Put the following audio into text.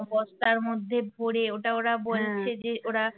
বস্তার মধ্যে ভরে ওটা ওরা বলছে যে ওরা